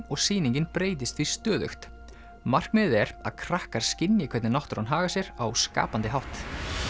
og sýningin breytist því stöðugt markmiðið er að krakkar skynji hvernig náttúran hagar sér á skapandi hátt